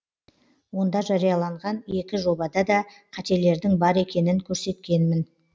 онда жарияланған екі жобада да қателердің бар екенін көрсеткенмін